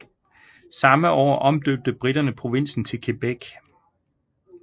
Samme år omdøbte briterne provinsen til Quebec